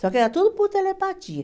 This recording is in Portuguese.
Só que era tudo por telepatia.